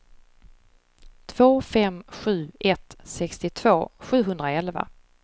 två fem sju ett sextiotvå sjuhundraelva